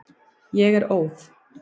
Ég er óð.